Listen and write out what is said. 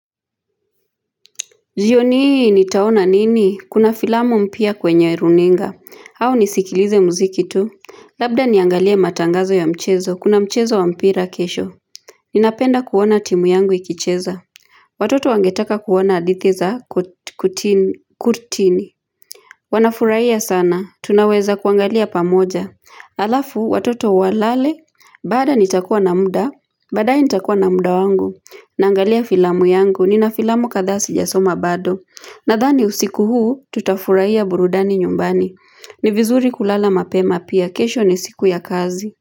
Jioni hii nitaona nini, kuna filamu mpya kwenye runinga au nisikilize mziki tu, Labda niangalia matangazo ya mchezo kuna mchezo wa mpira kesho Ninapenda kuona timu yangu ikicheza Watoto wangetaka kuona hadithi za kutini Wanafurahia sana, tunaweza kuangalia pamoja Alafu watoto walale baada ya nitakuwa na muda baadaye nitakuwa na muda wangu Naangalia filamu yangu, nina filamu kadhaa sijasoma bado. Nadhani usiku huu, tutafurahia burudani nyumbani. Ni vizuri kulala mapema pia, kesho ni siku ya kazi.